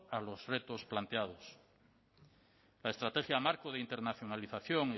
a los retos planteados la estrategia marco de internacionalización